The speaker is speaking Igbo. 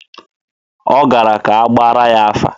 Ọ gara ka a gbaara ya afa.